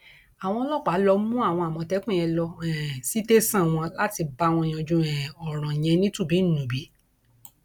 àwọn ọlọpàá lọọ mú àwọn àmọtẹkùn yẹn lọ um sí tẹsán wọn láti bá wọn yanjú um ọrọ yẹn nítùbíńnbùbí